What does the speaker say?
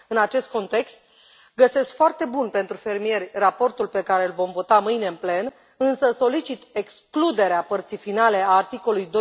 În acest context, găsesc foarte bun, pentru fermieri, raportul pe care l vom vota mâine în plen, însă solicit excluderea părții finale a articolului